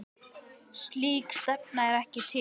Slík stefna er ekki til.